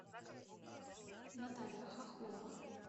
наталья хохлова